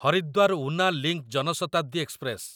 Haridwar Una link Janshatabdi express